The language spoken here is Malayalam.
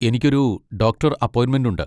എനിക്കൊരു ഡോക്ടർ അപ്പോയിന്മെന്റ് ഉണ്ട്.